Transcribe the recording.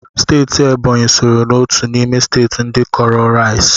Steeti Ebonyi sooro n'otu n'ime steeti ndị kọọrọ rais